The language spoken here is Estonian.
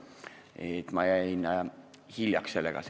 Nii et ma jäin hiljaks.